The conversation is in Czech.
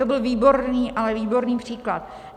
To byl výborný, ale výborný příklad.